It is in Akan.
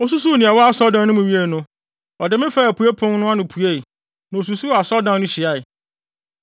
Osusuw nea ɛwɔ asɔredan no mu wiee no, ɔde me faa apuei pon no ano puei, na osusuw asɔredan no hyiae.